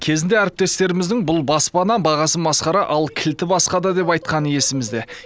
кезінде әріптестеріміздің бұл баспана бағасы масқара ал кілті басқада деп айтқаны есімізде